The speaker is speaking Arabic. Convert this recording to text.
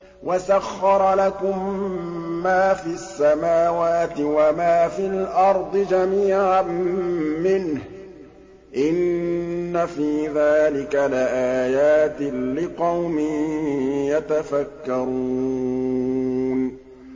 وَسَخَّرَ لَكُم مَّا فِي السَّمَاوَاتِ وَمَا فِي الْأَرْضِ جَمِيعًا مِّنْهُ ۚ إِنَّ فِي ذَٰلِكَ لَآيَاتٍ لِّقَوْمٍ يَتَفَكَّرُونَ